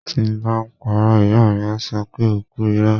Tí ń bá parọ́, Ìyá mi á sọ pé O kú irọ́ ó.